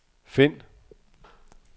find